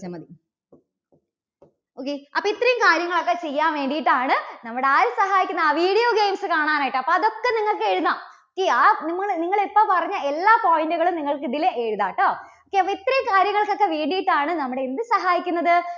okay അപ്പോൾ ഇത്രയും കാര്യങ്ങൾ ഒക്കെ ചെയ്യാൻ വേണ്ടിയിട്ട് ആണ് നമ്മുടെ ആര് സഹായിക്കുന്നത്? ആ video games കാണാൻ ആയിട്ട്. അപ്പോൾ അതൊക്കെ നിങ്ങൾക്ക് എഴുതാം. okay ആ നിങ്ങ~നിങ്ങള് ഇപ്പോൾ പറഞ്ഞ എല്ലാ point കളും നിങ്ങൾക്ക് ഇതിൽ എഴുതാം കേട്ടോ. ഒക്കെ അപ്പോൾ ഇത്രയും കാര്യങ്ങൾ ഒക്കെ വേണ്ടിയിട്ടാണ് നമ്മളെ എന്ത് സഹായിക്കുന്നത്?